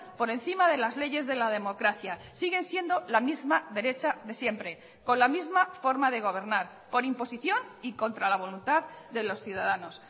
por encima de las leyes de la democracia siguen siendo la misma derecha de siempre con la misma forma de gobernar por imposición y contra la voluntad de los ciudadanos